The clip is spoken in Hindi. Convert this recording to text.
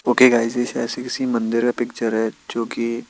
ओके गाईज ये शायद से किसी मंदिर का पिक्चर है जो कि--